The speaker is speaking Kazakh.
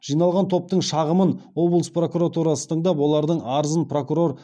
жиналған топтың шағымын облыс прокуратурасы тыңдап олардың арызын прокурор